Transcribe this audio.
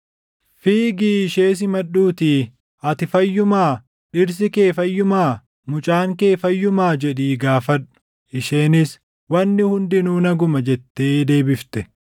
Fiigii ishee simadhuutii, ‘Ati fayyumaa? Dhirsi kee fayyumaa? Mucaan kee fayyumaa?’ jedhii gaafadhu.” Isheenis, “Wanni hundinuu naguma” jettee deebifte.